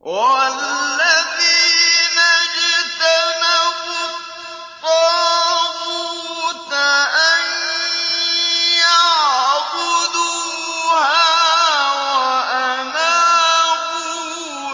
وَالَّذِينَ اجْتَنَبُوا الطَّاغُوتَ أَن يَعْبُدُوهَا وَأَنَابُوا